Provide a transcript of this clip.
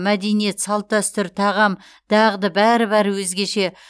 мәдениет салт дәстүр тағам дағды бәрі бәрі өзгеше